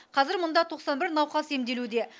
қазір мұнда тоқсан бір науқас емделуде